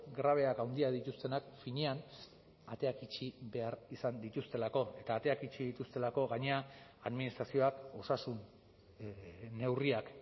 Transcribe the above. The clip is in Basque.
grabeak handiak dituztenak finean ateak itxi behar izan dituztelako eta ateak itxi dituztelako gainera administrazioak osasun neurriak